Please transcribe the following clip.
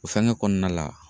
O fɛngɛ kɔnɔna la